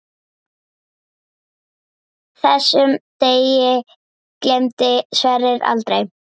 Þessum degi gleymdi Sverrir aldrei.